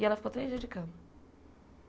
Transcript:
E ela ficou três dias de cama.